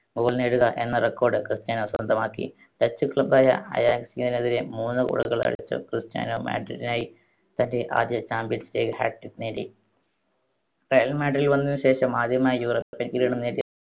goal നേടുക എന്ന record Cristiano സ്വന്തമാക്കി. dutch club യ അയാക്സിനെതിരെ മൂന്ന് goal കൾ അടിച്ചു ക്രിസ്റ്റ്യാനോ madrid നായി തൻ്റെ ആദ്യ champions league hat trick നേടി. റയൽ മാഡ്രിഡിൽ വന്നതിന് ശേഷം ആദ്യമായി european കിരീടം നേടിയ